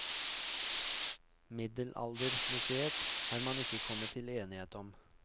Middelaldermuseet har man ikke kommet til enighet om.